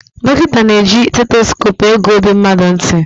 Dọkịta na-eji seitosope ege ọbi mmadụ ntị.